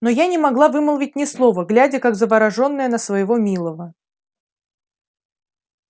но я не могла вымолвить ни слова глядя как заворожённая на своего милого